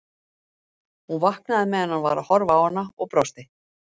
Hún vaknaði meðan hann var að horfa á hana og brosti.